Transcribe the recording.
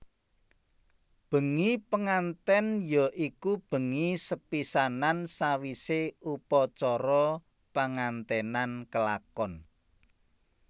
Bengi pengantèn ya iku bengi sepisanan sawisé upacara penganténan kelakon